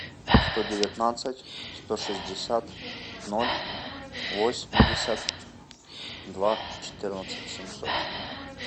сто девятнадцать сто шестьдесят ноль восемьдесят два четырнадцать семьсот